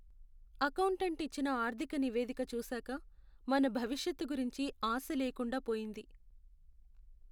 Accountant ఇచ్చిన ఆర్థిక నివేదిక చూసాక, మన భవిష్యత్తు గురించి ఆశ లేకుండా పోయింది.